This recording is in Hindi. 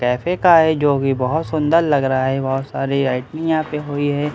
कैफै का है जो की बहुत सुंदर लग रहा है बहुत सारी लाइटिंग यहाँ पे हुई है बैलून --